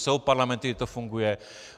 Jsou parlamenty, kde to funguje.